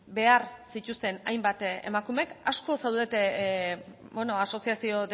behar zituzten hainbat emakumek asko zaudete asoziazio